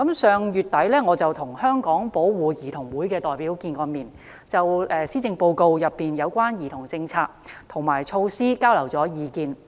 上月底，我與香港保護兒童會的代表會面，就施政報告中有關兒童政策及措施交流意見。